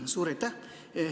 Suur aitäh!